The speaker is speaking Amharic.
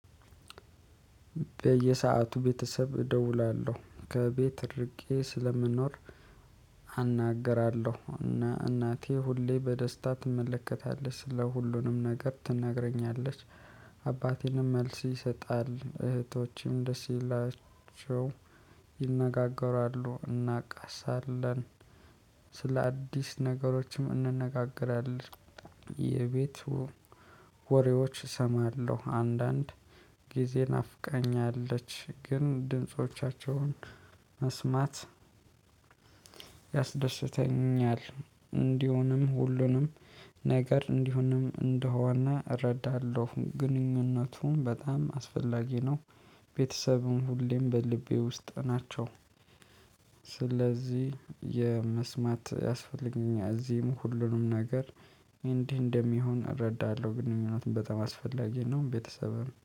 በየሰአቱ ቤተሰብ እደውላለሁ ከቤት እድርጌ ስለምንኖር። አናገራለሁ እና እናቴ ሁሌ በደስታ ትመለከታለች ስለ ሁሉንም ነገር ትነገረኛለች ትነግረኛለች አባቴንም መልስ ይሰጣል እህቶቼም ደስ ይላቸው ይነጋገራሉ እናቃሳለን። ስለ አዲስ ነገሮችም እንነጋገራለን። የቤቱ ወሬዎች እሰማለሁ። አንዳንድ ጊዜ ናፍቃኛለች ግን ድምፆቻቸውን መስማት ያስደስተኛል። እንዲሆንም ሁሉንም ነገር እንዲሆንም እንደሆነ እረዳለሁ ግንኙነቱም በጣም አስፈላጊ ነው። ቤተሰቡን ሁሌም በልቤ ውስጥ ናቸው። ስለዚህ የመስማት ያስፈልገኛል። እዚህም ሁሉንም ነገር እንዲህ እንደሚሆን እረዳለሁ ግንኙነት በጣም አስፈላጊ ነው። ቤተሰብም